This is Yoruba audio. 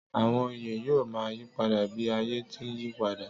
Àwọn oyè yóò ma yípadà bí ayé ti ń yípadà